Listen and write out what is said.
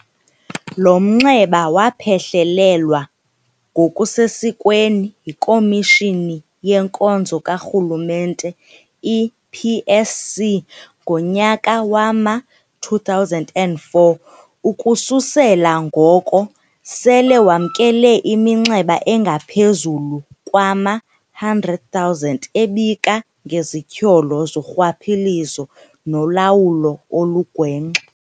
Lo mnxeba waphehlelelwa ngokusesikweni yiKomishoni yeNkonzo kaRhulumente i-PSC ngonyaka wama-2004, ukususela ngoko ke sele wamkele iminxeba engaphezulu kwama-100 000 ebika ngezityholo zorhwaphilizo nolawulo olugwenxa.